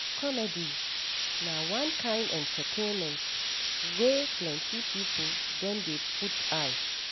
Comedy na one kain entertainment wey plenty pipo don dey put eye.